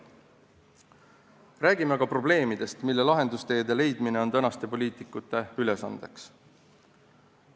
Räägime ka probleemidest, millele lahendusteede leidmine on tänaste poliitikute ülesandeks.